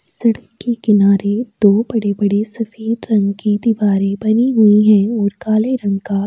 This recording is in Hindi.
सड़क के किनारे दो बड़े-बड़े सफेद रंग की दीवारें बनी हुई हैं और काले रंग का --